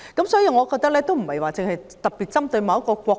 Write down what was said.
所以，我認為問題並非特別針對某一個國家。